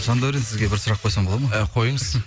жандәурен сізге бір сұрақ қойсам болады ма ы қойыңыз